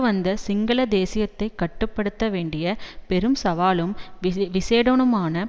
வந்த சிங்கள தேசியத்தை கட்டு படுத்த வேண்டிய பெரும் சவாலும் விசேடமான